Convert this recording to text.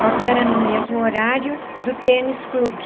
Só que era no mesmo horário do tênis clube.